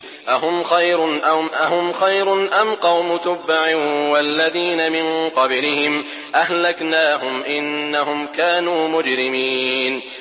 أَهُمْ خَيْرٌ أَمْ قَوْمُ تُبَّعٍ وَالَّذِينَ مِن قَبْلِهِمْ ۚ أَهْلَكْنَاهُمْ ۖ إِنَّهُمْ كَانُوا مُجْرِمِينَ